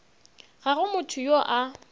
ga go motho yo a